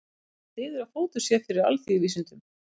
Þetta styður að fótur sé fyrir alþýðuvísindunum.